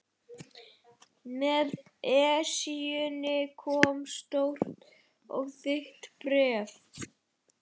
Með Esjunni kom stórt og þykkt bréf.